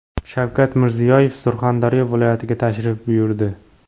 Shavkat Mirziyoyev Surxondaryo viloyatiga tashrif buyurdi.